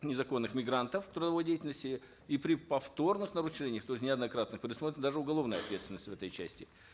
незаконных мигрантов трудовой деятельности и при повторных нарушениях то есть неоднократных предусмотрена даже уголовная ответственность в этой части